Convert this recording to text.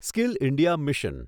skill India mission